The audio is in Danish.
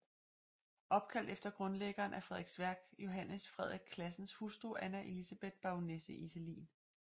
Opkaldt efter grundlæggeren af Frederiksværk Johan Frederik Classens hustru Anna Elisabeth Baronesse Iselin